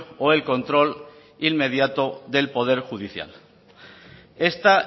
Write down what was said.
o el control inmediato del poder judicial esta